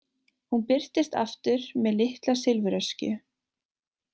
Hún birtist aftur með litla silfuröskju.